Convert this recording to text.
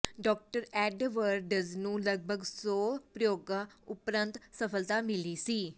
doctor Edwards ਨੂੰ ਲਗਪਗ ਸੌ ਪ੍ਰਯੋਗਾਂ ਉਪਰੰਤ ਸਫਲਤਾ ਮਿਲੀ ਸੀ